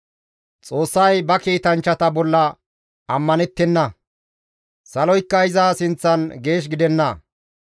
Xoossay ba kiitanchchata bolla ammanettenna; saloykka iza sinththan geesh gidenna.